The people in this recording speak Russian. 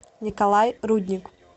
николай рудник